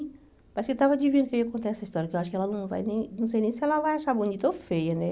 Parece que estava adivinhando que eu ia contar essa história, que eu acho que ela não vai nem... Não sei nem se ela vai achar bonita ou feia, né?